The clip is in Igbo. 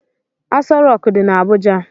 Aso rock di na Abuja.